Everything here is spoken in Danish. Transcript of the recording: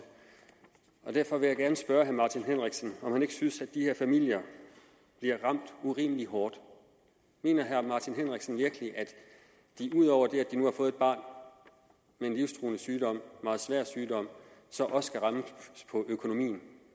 derfor vil jeg gerne spørge herre martin henriksen om han ikke synes de her familier bliver ramt urimelig hårdt mener herre martin henriksen virkelig at de ud over det at de nu har fået et barn med en livstruende sygdom meget svær sygdom så også skal rammes på økonomien